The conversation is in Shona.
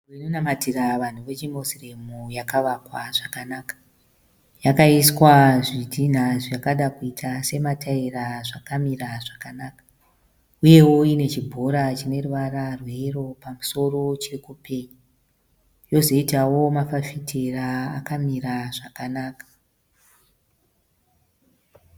Nzvimbo inonamatira vanhu vechi Moslem yakavakwa zvakanaka. Yakaiswa zvitinha zvakada kuita semataera zvakamira zvakanaka. Uyewo inechibhora chineruvara rwe yero pamusoro chekupeyi. Yozoitawo mafaftera akamira zvakanaka.